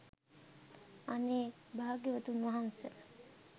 අනේ භාග්‍යවතුන් වහන්ස